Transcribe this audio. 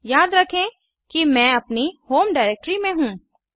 याद रखें कि मैं अपनी होम डिरेक्टरी में हूँ